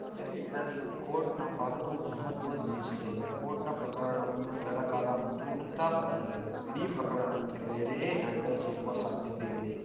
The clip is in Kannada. ಜೊತೆಗೆ ಇದರಲ್ಲಿ ಕೋರ್ಟ್‌ನ ಪಾತ್ರವೂ ಮಹತ್ವದ್ದೆನಿಸಿದೆ ಕೋರ್ಟ್‌ ಪ್ರಕರಣವನ್ನು ಕೆಲ ಕಾಲ ಮುಂದೂಡುತ್ತ ಬಂದರೆ ಇಡೀ ಪ್ರಕರಣಕ್ಕೆ ಬೇರೆಯೇ ಆ್ಯಂಗಲ್‌ ಸಿಗುವ ಸಾಧ್ಯತೆಯಿದೆ